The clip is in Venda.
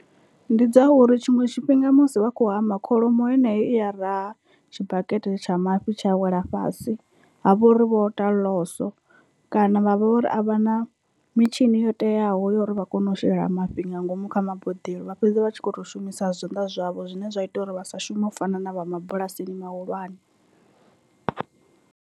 Ndi dza uri tshiṅwe tshifhinga musi vha khou hama kholomo heneyo i ya raha tshibakete tsha mafhi tsha a wela fhasi ha vhori vho ita ḽoso kana vha vha uri a vha na mitshini yo teaho uri vha kone u shela mafhi nga ngomu kha maboḓelo, vha fhedza vha tshi kho to shumisa zwanḓa zwavho zwine zwa ita uri vha sa shume u fana na vha mabulasini mahulwane.